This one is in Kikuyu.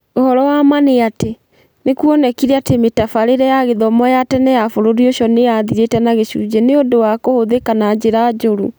Ũhoro wa ma nĩ atĩ, nĩ kuonekire atĩ mĩtabarĩre ya gĩthomo ya tene ya bũrũri ũcio nĩ yathirĩte na gĩcunjĩ nĩ ũndũ wa kũhũthĩka na njĩra njũru.